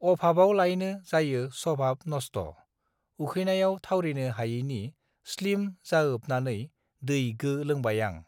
अभाबआवलायनो जायो सभाब नस्ठ उखैनायाव थावरिनो हायैनि स्लिम जाओबनानै दै गो लोंबाय आं